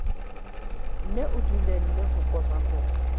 nne o dulele ho komakoma